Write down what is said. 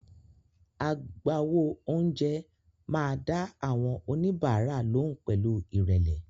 Agbáwo oúnjẹ máa dá àwọn oníbàárà lóhùn pẹ̀lú ìrẹ̀lẹ̀.